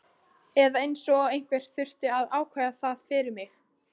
Eða eins og einhver þurfi að ákveða það fyrir mig.